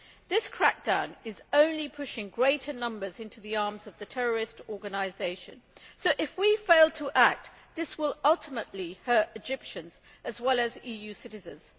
This crackdown is only pushing greater numbers into the arms of the terrorist organisation so, if we fail to act, this will ultimately hurt Egyptians as well as EU citizens.